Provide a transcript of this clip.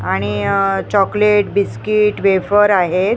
आणि अ chocolate biscuit wafer आहेत.